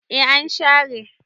eh an share